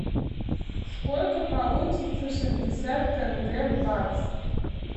сколько получится шестьдесят тенге в баксах